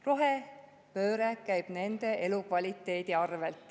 Rohepööre käib nende elukvaliteedi arvel.